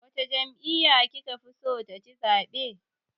Wace jami'yya ki ka fi so ta ci zaɓe.